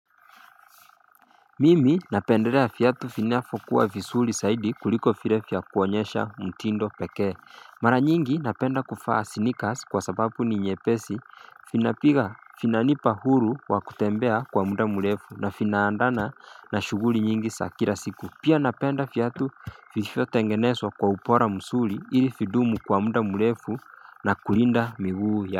Mimi napenderea fiatu finafo kuwa fisuri saidi kuliko file fya kuonyesha mtindo pekee. Mara nyingi napenda kufaa snikas kwa sababu ni nyepesi vinapiga, vinanipa huru wakutembea kwa muda mrefu na vina andamana na shuguli nyingi sa kila siku. Pia napenda viatu vilivyo tengenezwa kwa ubora mzuri ili vindumu kwa muda mrefu na kulinda miguu ya.